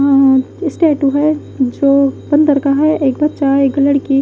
अ statue है जो बंदर का है एक बच्चा एक लड़की--